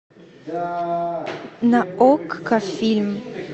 на окко фильм